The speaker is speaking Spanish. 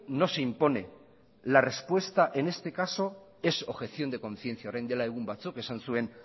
no se impone la respuesta en este caso es objeción de conciencia orain dela egun batzuk esan zuen